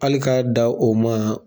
Hali k'a da o ma